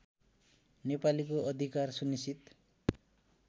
नेपालीको अधिकार सुनिश्चित